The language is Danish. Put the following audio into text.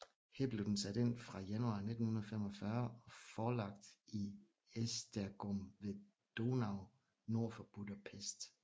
Her blev den sat ind fra januar 1945 og forlagt i Esztergom ved Donau nord for Budapest